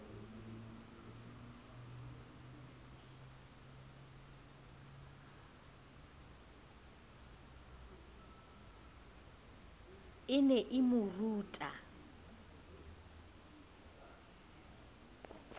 e ne e mo rute